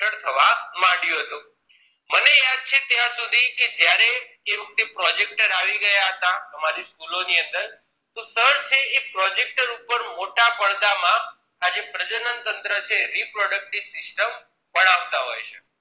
છે કે ત્યાં સુધી કે જ્યારે એ વખતે projector આવી ગયા હતા અમારી school ઓની અંદર તો સર છે એ projector ઉપર મોટા પડદા માં આજે પ્રજનન તંત્ર છે reproductive system ભણાવતા હોય છે